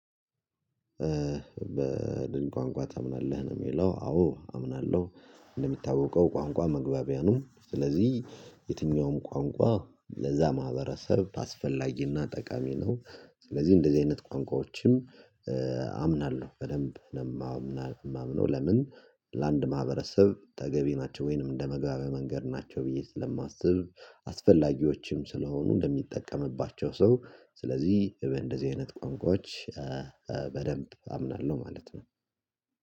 በድን ቋንቋ ታምናለህ ነው የሚለው አዎ አምናለሁ እንደሚታወቀው ቋንቋ መግባቢያ ነው ስለዚህ የትኛውም ቋንቋ ለዛ ማህበረሰብ አስፈላጊና ጠቃሚ ነው። ስለዚህ እንደዚህ አይነት ቋንቋዎችም አምናለሁ በደንብ ነው የማምነው ለምን ለአንድ ማህበረሰብ ተገቢ ናቸው ወይንም እንደ መግባቢያ መንገድ ናቸው ብዬ ስለማስብ አስፈላጊዎችም ስለሆኑ እንደሚጠቀምባቸው ሰው ስለዚህ እንደዚህ አይነት ቋንቋዎች በደንብ አምናለሁ ማለት ነው።